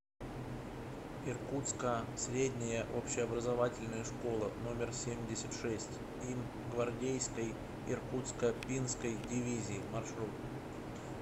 иркутска средняя общеобразовательная школа номер семьдесят шесть им гвардейской иркутско пинской дивизии маршрут